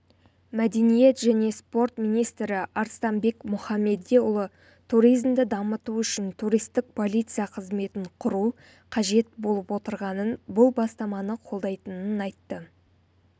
мәдениет және спорт министрі арыстанбек мұхамедиұлы туризмді дамыту үшін туристік полиция қызметін құру қажет болып отырғанын бұл бастаманы қолдайтынын айтты